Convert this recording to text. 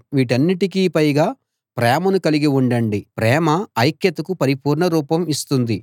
వీటన్నిటికి పైగా ప్రేమను కలిగి ఉండండి ప్రేమ ఐక్యతకు పరిపూర్ణ రూపం ఇస్తుంది